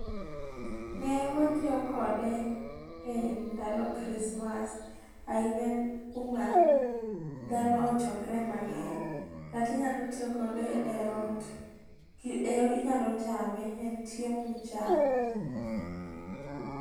Newatiyo kode e ndalo chrismass ainya kuma dhano ochokre mangeny kata inyalo tiyo kode e ot inyalo chame en chiemo michamo